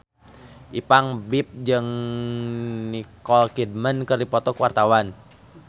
Ipank BIP jeung Nicole Kidman keur dipoto ku wartawan